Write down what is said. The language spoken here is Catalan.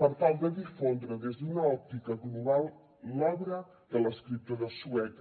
per tal de difondre des d’una òptica global l’obra de l’escriptor de sueca